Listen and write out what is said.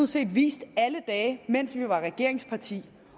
set vist alle dage mens vi var regeringsparti